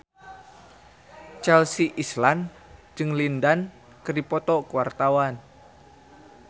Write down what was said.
Chelsea Islan jeung Lin Dan keur dipoto ku wartawan